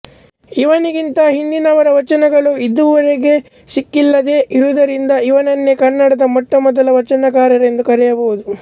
ಇವನಿಗಿಂತ ಹಿಂದಿನವರ ವಚನಗಳು ಇದುರೆವಿಗೂ ಸಿಕ್ಕಿಲ್ಲದೆ ಇರುವುದರಿಂದ ಇವನನ್ನೆ ಕನ್ನಡದ ಮೊಟ್ಟ ಮೊದಲ ವಚನಕಾರರೆಂದು ಕರೆಯಬಹುದು